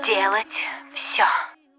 делать всё